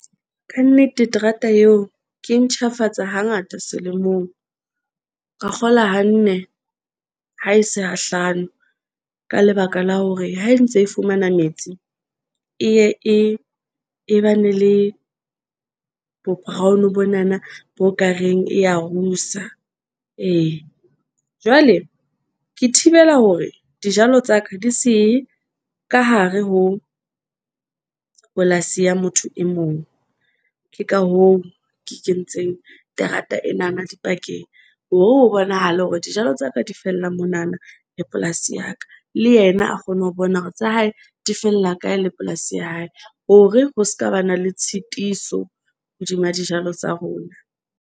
Ka nnete terata eo ke ntjhafatsa hangata selemong. Ka kgola ha nne, ha e se ha hlano. Ka lebaka la hore ha e ntse e fumana metsi.E ye e ba ne le bo Brown, bonana bo ka reng e ya rusa ee. Jwale ke thibela hore dijalo tsa ka di se ka hare ho polasi ya motho e mong, ke ka hoo ke ke ntseng terata enana dipakeng hore ho bonahale hore dijalo tsa ka di fellang monana le polasing ya ka. Le yena a kgone ho bona hore tsa hae di fella kae, le polasi ya hae hore ho ska ba na le tshitiso hodima dijalo tsa rona.